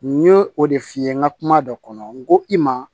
N ye o de f'i ye n ka kuma dɔ kɔnɔ n ko i ma